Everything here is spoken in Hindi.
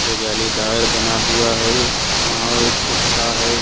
ये जालीदार बना हुआ है। वहां एक कुत्ता है।